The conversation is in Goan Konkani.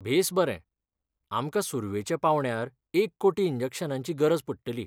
बेस बरें , आमकां सुर्वेच्या पांवड्यार एक कोटी इंजेक्शनांची गरज पडटली.